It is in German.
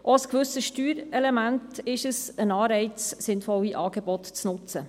Es ist auch ein gewisses Steuerungselement, ein Anreiz, sinnvolle Angebote zu nutzen.